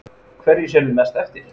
Kristján: Hverju sérðu mest eftir?